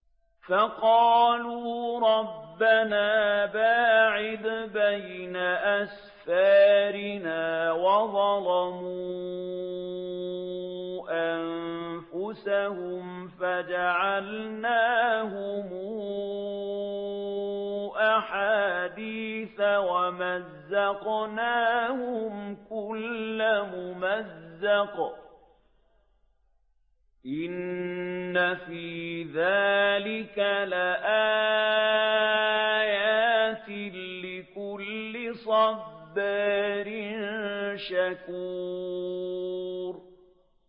فَقَالُوا رَبَّنَا بَاعِدْ بَيْنَ أَسْفَارِنَا وَظَلَمُوا أَنفُسَهُمْ فَجَعَلْنَاهُمْ أَحَادِيثَ وَمَزَّقْنَاهُمْ كُلَّ مُمَزَّقٍ ۚ إِنَّ فِي ذَٰلِكَ لَآيَاتٍ لِّكُلِّ صَبَّارٍ شَكُورٍ